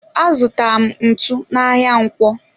Azutara m ntụ n'ahia ǹkwọ.